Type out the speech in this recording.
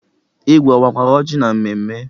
Igwe owakwara oji na mmemme?